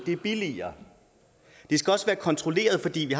det er billigere det skal også være kontrolleret fordi vi